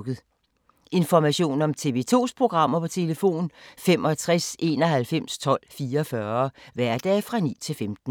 Information om TV 2's programmer: 65 91 12 44, hverdage 9-15.